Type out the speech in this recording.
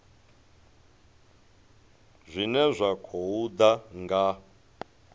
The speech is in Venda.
zwine zwa khou ḓa nga